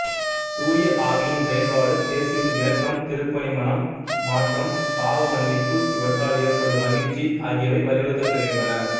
தூய ஆவியின் செயல்பாடு இயேசுவின் இரக்கம் திருப்பணி மனம் மாற்றம் பாவமன்னிப்பு இவற்றால் ஏற்படும் மகிழ்ச்சி ஆகியவை வலியுறுத்தப் பெறுகின்றன